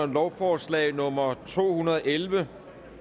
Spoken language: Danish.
lovforslag nummer to hundrede og elleve